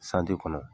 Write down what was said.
kɔnɔ